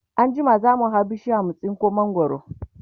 anjima zamu hau bishiyar mu tsinko mangwaro